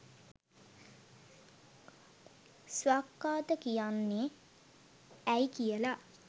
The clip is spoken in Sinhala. ස්වාක්ඛාත කියන්නේ ඇයි කියලා